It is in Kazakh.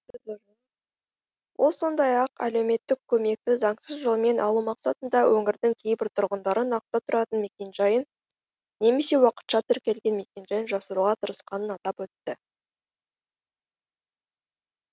ол сондай ақ әлеуметтік көмекті заңсыз жолмен алу мақсатында өңірдің кейбір тұрғындары нақты тұратын мекен жайын немесе уақытша тіркелген мекен жайын жасыруға тырысқанын атап өтті